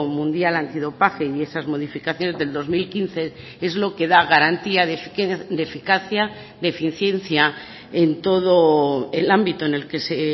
mundial antidopaje y esas modificaciones del dos mil quince es lo que da garantía de eficacia de eficiencia en todo el ámbito en el que se